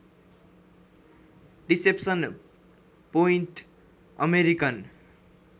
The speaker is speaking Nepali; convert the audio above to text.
deception Point American